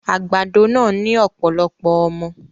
Àgbàdo náà ní ọ̀pọ̀lọpọ̀ ọmọ